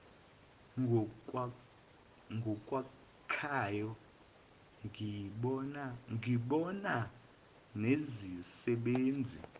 ngokwakhayo ngibonga nezisebenzi